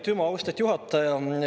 Aitüma, austet juhataja!